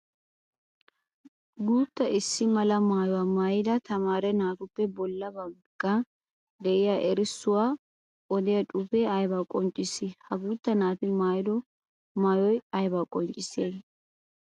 Guutta issi mala maayuwaa maayida tamaare naatuppe bolla baga de'iya erissuwa odiya xuufe aybba qonccissi? Ha guuta naati maayido maayoy aybba qonccissiyaage?